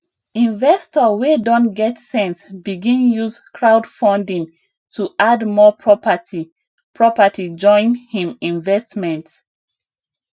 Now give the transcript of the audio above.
investor wey don get sense begin use crowdfunding to add more property property join him investment